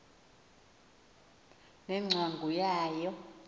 ne ngcwangu yayo